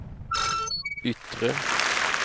yttre